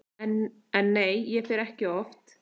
En nei, ég fer ekki oft.